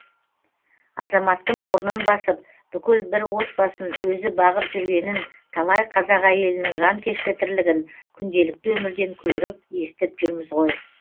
азаматтың орнын басып бүкіл бір отбасын өзі бағып жүргенін талай қазақ әйелінің жанкешті тірлігін күнделікті өмірден көріп естіп жүрміз ғой